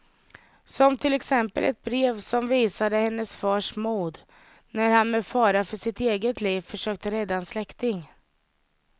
Som till exempel ett brev som visade hennes fars mod när han med fara för sitt eget liv försökte rädda en släkting.